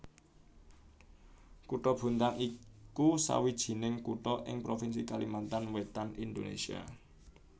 Kutha Bontang iku sawijining kutha ing provinsi Kalimantan Wétan Indonésia